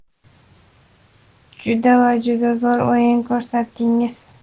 Juda va juda zo‘r o‘yin ko‘rsatdingiz!.